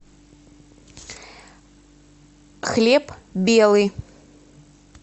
хлеб белый